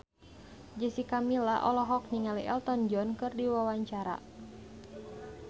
Jessica Milla olohok ningali Elton John keur diwawancara